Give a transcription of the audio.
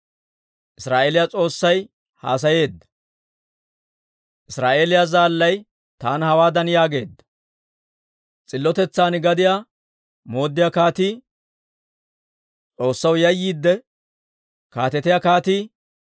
Israa'eeliyaa S'oossay haasayeedda; Israa'eeliyaa Zaallay taana hawaadan yaageedda; ‹S'illotetsan gadiyaa mooddiyaa kaatii, S'oossaw yayyiidde kaatetiyaa kaatii,